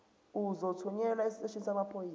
uzothunyelwa esiteshini samaphoyisa